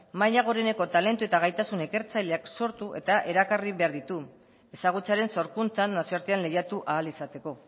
maila goreneko talentu eta gaitasun ikertzaileak sortu eta erakarri behar ditu ezagutzaren sorkuntzan nazioartean lehiatu ahal izateko